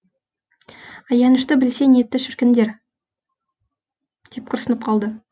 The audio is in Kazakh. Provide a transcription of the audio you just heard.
аянышты білсе нетті шіркіндер деп күрсініп қалды